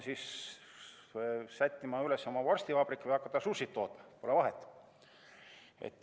Kas sätitakse üles oma vorstivabrik või hakatakse sushi't tootma, pole vahet.